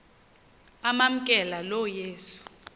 amamkela lo yesu